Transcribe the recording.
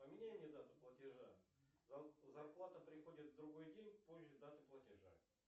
поменяй мне дату платежа зарплата приходит в другой день позже даты платежа